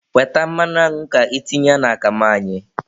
Weta mmanụ añụ ka itinye n'akamụ anyị.